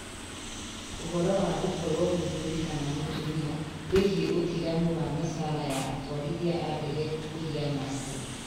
Ũhoro wa gũkorũo mũthuuri kana mũtumia wĩgiĩ ũtiganu wa mĩcara ya atwarithia a ndege ũhiana atĩa?